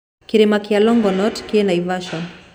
Kĩrĩma kĩa Longonot kĩ Naivasha